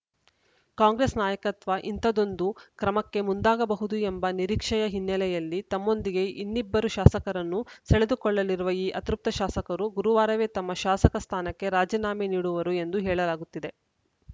ಕಾಂಗ್ರೆಸ್‌ ನಾಯಕತ್ವ ಇಂತಹದೊಂದು ಕ್ರಮಕ್ಕೆ ಮುಂದಾಗಬಹುದು ಎಂಬ ನಿರೀಕ್ಷೆಯ ಹಿನ್ನೆಲೆಯಲ್ಲಿ ತಮ್ಮೊಂದಿಗೆ ಇನ್ನಿಬ್ಬರು ಶಾಸಕರನ್ನು ಸೆಳೆದುಕೊಳ್ಳಲಿರುವ ಈ ಅತೃಪ್ತ ಶಾಸಕರು ಗುರುವಾರವೇ ತಮ್ಮ ಶಾಸಕ ಸ್ಥಾನಕ್ಕೆ ರಾಜೀನಾಮೆ ನೀಡುವರು ಎಂದು ಹೇಳಲಾಗುತ್ತಿದೆ